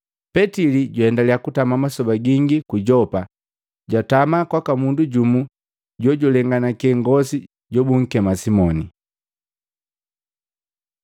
Petili jwaendaliya kutama masoba gingi ku Yopa, jwatama kwaka mundu jumu jojulenganake ngosi jobunkema Simoni.